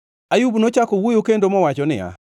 Ayub nochako wuoyo kendo mowacho niya,